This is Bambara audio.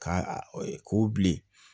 Ka k'o bilen